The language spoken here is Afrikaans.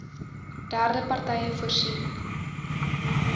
derde partye voorsien